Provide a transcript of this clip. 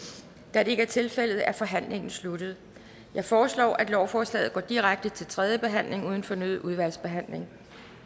da det ikke er tilfældet er forhandlingen sluttet jeg foreslår at lovforslaget går direkte til tredje behandling uden fornyet udvalgsbehandling